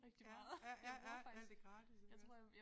Ja ja ja ja ja det gratis iggås